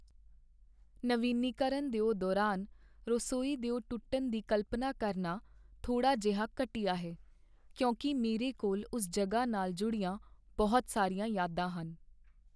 ਨਵੀਨੀਕਰਨ ਦਿਓ ਦੌਰਾਨ ਰਸੋਈ ਦਿਓ ਟੁੱਟਣ ਦੀ ਕਲਪਨਾ ਕਰਨਾ ਥੋੜਾ ਜਿਹਾ ਘਟੀਆ ਹੈ, ਕਿਉਂਕਿ ਮੇਰੇ ਕੋਲ ਉਸ ਜਗ੍ਹਾ ਨਾਲ ਜੁੜੀਆਂ ਬਹੁਤ ਸਾਰੀਆਂ ਯਾਦਾਂ ਹਨ।